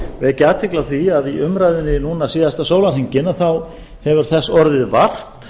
vekja athygli á því að í umræðunni núna síðasta sólarhringinn hefur þess orðið vart